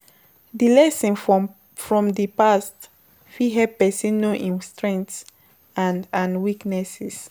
Di lesson from di past fit help person know im strength and and weaknesses